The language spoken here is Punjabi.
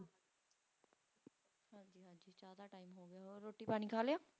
ਹੋਰ ਰੋਟੀ ਪਾਣੀ ਖਾ ਲਿਆ?